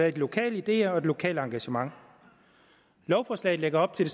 i lokale ideer og lokalt engagement lovforslaget lægger op til